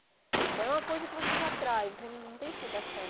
Então, é uma coisa que você já traz, você não tem explicação.